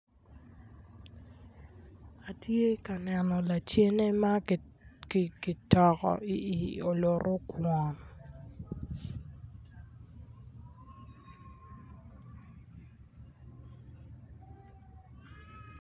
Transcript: Atye ka neno lacen ma kitoko i oluto kwon